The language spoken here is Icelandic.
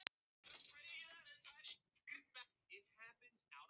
Hættan á að flóttinn afhjúpaði mig í eigin augum.